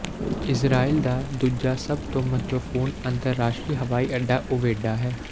Israel ਦਾ ਦੂਜਾ ਸਭ ਤੋਂ ਮਹੱਤਵਪੂਰਨ ਅੰਤਰਰਾਸ਼ਟਰੀ ਹਵਾਈ ਅੱਡਾ ਉਵੇਡਾ ਹੈ